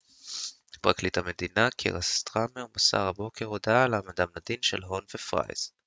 פרקליט המדינה קיר סטארמר מסר הבוקר הודעה על העמדתם לדין של הון ופרייס